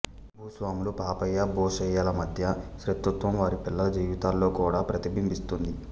భూస్వాములు పాపయ్య భూషయ్యల మధ్య శత్రుత్వం వారి పిల్లల జీవితాల్లో కూడా ప్రతిబింబిస్తుంది